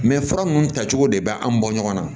Mɛ fura ninnu tacogo de bɛ an bɔ ɲɔgɔn na